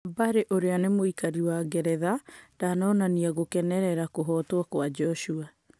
Bury ũrĩa nĩ mũikari wa Ngeretha ndanonania gũkenerera kũhotwo kwa Njoshua.